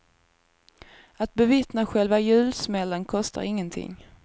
Att bevittna själva julsmällen kostar ingenting.